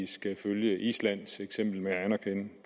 skal følge islands eksempel med at anerkende